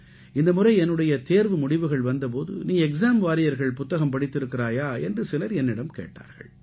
இந்தமுறை என்னுடைய தேர்வு முடிவுகள் வந்த போது நீ எக்ஸாம் வாரியர்கள் புத்தகம் படித்திருக்கிறாயா என்று சிலர் என்னிடம் கேட்டார்கள்